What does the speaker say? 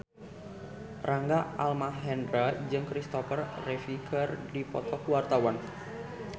Rangga Almahendra jeung Christopher Reeve keur dipoto ku wartawan